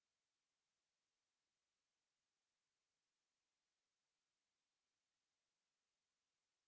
V predstavi pet igralcev igra skupaj triindvajset vlog v petih različnih zgodbah.